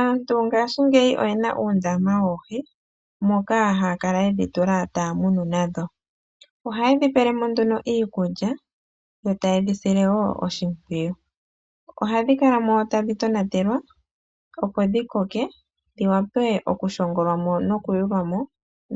Aantu ngashingeyi oyena uundama woohi moka haya kala yedhi tula taya munu nadho. Ohaye dhi pelemo iikulya yo taye dhi sile woo oshimpwiyu. Ohadhi kala mo tadhi tonatelwa opo dhi koke dhi wape oku shongolwa mo noku yulwa mo